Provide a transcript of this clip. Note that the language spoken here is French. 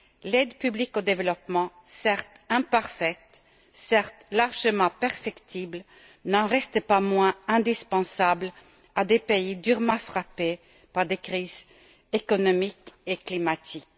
L'aide publique au développement, certes imparfaite, certes largement perfectible, n'en reste pas moins indispensable à des pays durement frappés par des crises économiques et climatiques.